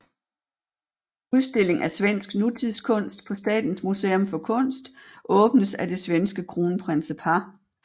Udstilling af svensk nutidskunst på Statens Museum for Kunst åbnes af det svenske kronprinsepar